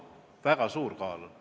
Väga suur kaal on.